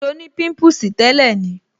So ni pimpusi tẹ́lẹ̀ ni